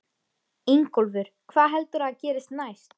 Ingólfur: Hvað heldurðu að gerist næst?